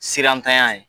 Sirantanya ye